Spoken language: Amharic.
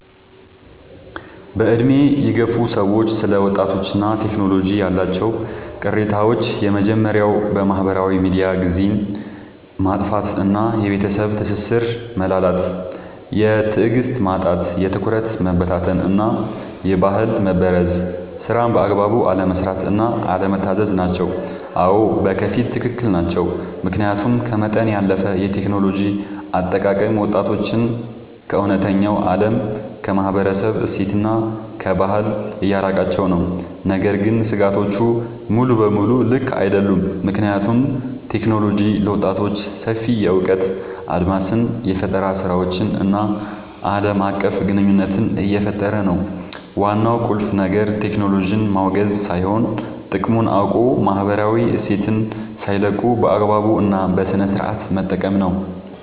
በዕድሜ የገፉ ሰዎች ስለ ወጣቶችና ቴክኖሎጂ ያላቸው ቅሬታዎች የመጀመርያው በማህበራዊ ሚዲያ ጊዜን ማጥፋት እና የቤተሰብ ትስስር መላላት። የትዕግስት ማጣት፣ የትኩረት መበታተን እና የባህል መበረዝ። ስራን በአግባቡ አለመስራት እና አለመታዘዝ ናቸው። አዎ፣ በከፊል ትክክል ናቸው። ምክንያቱም ከመጠን ያለፈ የቴክኖሎጂ አጠቃቀም ወጣቶችን ከእውነተኛው ዓለም፣ ከማህበረሰብ እሴትና ከባህል እያራቃቸው ነው። ነገር ግን ስጋቶቹ ሙሉ በሙሉ ልክ አይደሉም፤ ምክንያቱም ቴክኖሎጂ ለወጣቶች ሰፊ የእውቀት አድማስን፣ የፈጠራ ስራዎችን እና ዓለም አቀፍ ግንኙነት እየፈጠረ ነው። ዋናው ቁልፍ ነገር ቴክኖሎጂን ማውገዝ ሳይሆን፣ ጥቅሙን አውቆ ማህበራዊ እሴትን ሳይለቁ በአግባቡ እና በስነሥርዓት መጠቀም ነው።